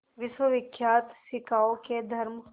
विश्वविख्यात शिकागो के धर्म